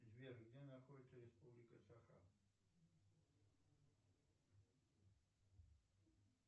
сбер где находится республика саха